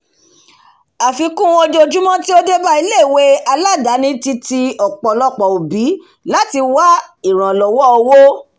àfikún ojojúmọ́ tí ó débá ilé ìwé aládáni ti ti ọ̀pọlọ̀pọ̀ ọ̀bí láti wá ìrànlọ́wọ́ owó